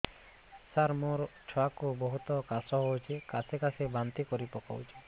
ସାର ମୋ ଛୁଆ କୁ ବହୁତ କାଶ ହଉଛି କାସି କାସି ବାନ୍ତି କରି ପକାଉଛି